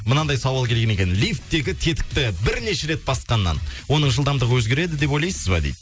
мынандай сауал келген екен лифттегі тетікті бірнеше рет басқаннан оның жылдамдығы өзгереді деп ойлайсыз ба дейді